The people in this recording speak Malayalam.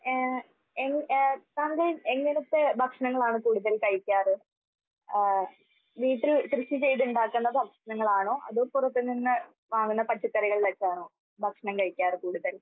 ആഹ് ഏഹ് എൻ ഏഹ് സഹദേവ് എങ്ങനത്തെ ഭക്ഷണങ്ങളാണ് കൂടുതൽ കഴിക്കാറ്? ആഹ് വീട്ടിൽ കൃഷി ചെയ്ത് ഇണ്ടാക്കണ ഭക്ഷണങ്ങളാണോ അതോ പുറത്ത് നിന്ന് വാങ്ങുന്ന പച്ചക്കറികളിലൊക്കെയാണോ ഭക്ഷണം കഴിക്കാറ് കൂടുതൽ?